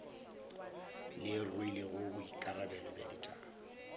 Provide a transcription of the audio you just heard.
le rwelego boikarabelo bja ditaba